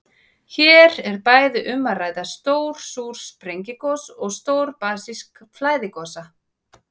Hér er bæði um að ræða stór súr sprengigos og stór basísk flæðigosa.